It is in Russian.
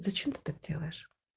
зачем ты так делаешь